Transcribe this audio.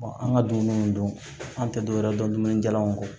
an ka dumuni dun an tɛ dɔwɛrɛ dɔn dumuni jalaw ko